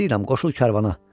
Nə deyirəm, qoşul karvana.